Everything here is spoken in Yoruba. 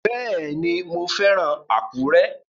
Bẹ́ẹ̀ni, mo fẹ́ràn Àkúrẹ́